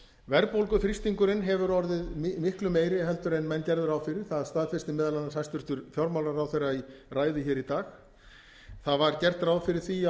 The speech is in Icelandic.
verðbólguþrýstingurinn hefur orðið miklu meiri en menn gerðu ráð fyrir það staðfesti meðal annars hæstvirtur fjármálaráðherra í ræðu hér í dag það var gert ráð fyrir því